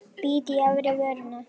Bít í efri vörina.